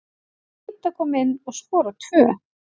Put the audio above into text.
Það er fínt að koma inn og skora tvö.